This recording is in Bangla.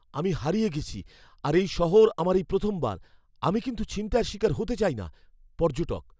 আমি হারিয়ে গেছি আর এই শহর আমার এই প্রথমবার। আমি কিন্তু ছিনতাইয়ের শিকার হতে চাই না। পর্যটক